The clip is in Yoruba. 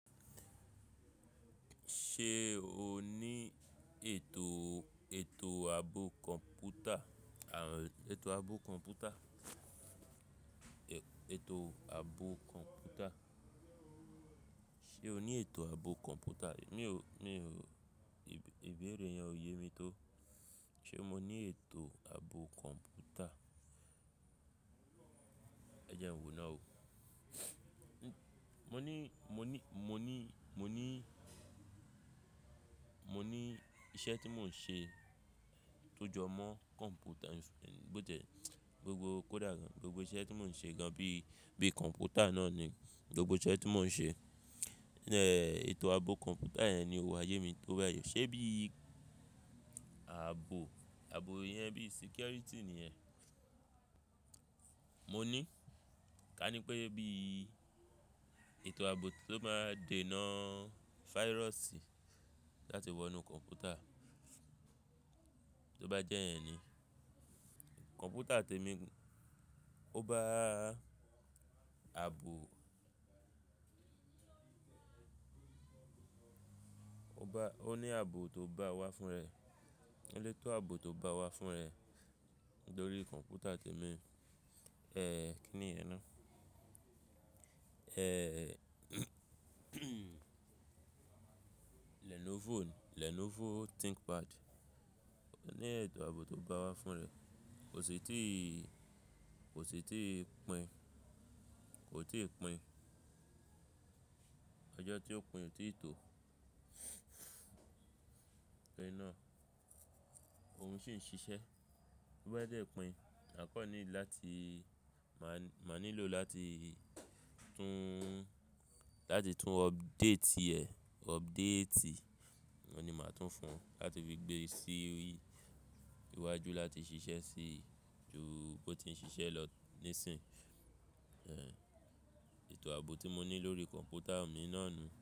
Ṣé o ní ètò, ètò ààbò kọ̀m̀pútà, àbí ètò ààbò kọ̀m̀pútà, ètò ààbò kọ̀m̀pútà. Ṣé o ní ètò ààbò kọ̀m̀pútà? Mi ò, mi niò, ìbéèrè yẹn ò yé mi tó. Ṣé mo ní ètò ààbò kọ̀m̀pútà? Ẹ jẹun wò náà o. Mo ní, mo ní, mo ní, mo ní, mo ní iṣẹ́ tí mò ń ṣe tọ́jọ́ mọ́ kọ̀m̀pútà, bó n tiẹ̀ gbogbo kódà, gbogbo iṣẹ́ tí mò ń ṣe gan bí, bí kọ̀m̀pútà náà ni gbogbo iṣẹ́ tí mò ń ṣe. Eh, ètò ààbò kọ̀m̀pútà yẹn ni kò wá yé mi tó báyìí. Ṣé bí ààbò, ààbò yẹn bí sicurity ni yẹn? Mo ní, ká ní pé bí ètò ààbò tó máa dè nà virusi láti wọ inú kọ̀m̀pútà, tó bá jẹ́ yẹn ni. Kọ̀m̀pútà tèmi ó bá ààbò, ó bá, ó ní àà bò tó bá wá fún rẹ̀. Ó ní ètò àà bò tó bá wá fún rẹ̀ lórí kọ̀m̀pútà tèmi. Eh, kí ni yẹn ná? Eh, Lenovo ni, Lenovo ThinkPad. Ó ní ètò àà bò tó bá wá fún rẹ̀ kò sì ti, kò sì ti pín, kò ti pín. Ọjọ́ tí ó pín tíì tó. Ẹni náà, òun sì ṣi ṣẹ́. Ó bá dẹ́ẹ̀ pín, àkọ́ ni láti, má, máa nílò láti tún, láti tún update rẹ̀, update ni màá tún fún un láti fi gbé sí iwájú láti ṣi ṣẹ́ sí jù bó ti ń ṣiṣẹ́ lọ ní sìn yí. Eh, ètò ààbò tí mo ní lórí kọ̀m̀pútà mi náà ni.